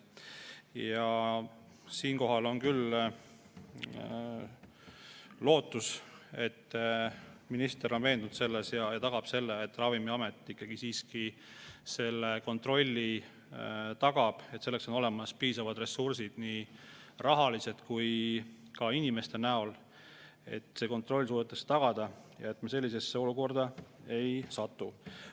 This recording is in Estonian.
Ja siinkohal on küll lootus, et minister on veendunud, et ta suudab tagada selle, et Ravimiamet selle kontrolli tagab ja et selleks on olemas piisavad ressursid nii rahaliselt kui ka inimeste näol, et see kontroll tagada ja me sellisesse olukorda ei satu.